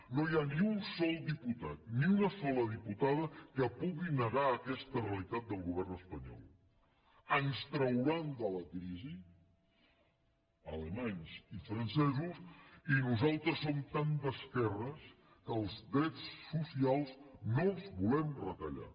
no hi ha ni un sol diputat ni una sola diputada que pugui negar aquesta realitat del govern espanyol ens trauran de la crisi alemanys i francesos i nosaltres som tan d’esquerres que els drets socials no els volem retallar